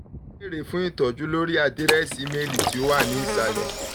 o le beere fun itọju lori adirẹsi imeeli ti o imeeli ti o wa ni isalẹ